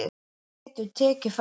Farðu og viðraðu þig